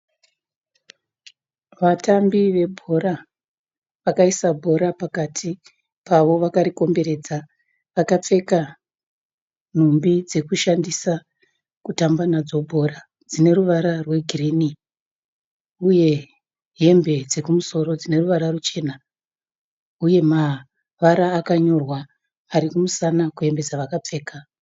Vatambi vebhora, vakaisa bhora pakati pavo vakarikomboredza. Vakapfeka nhumbi dzekushandisa kutamba nadzo bhora dzine ruvara rwegirinhi uye hembe dzekumusoro dzine ruvara ruchena. Uye kune mavara akanyorwa ari kumusana kwehembe dzavakapfeka.